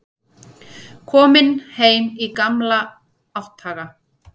Kominn heim í gamla átthaga.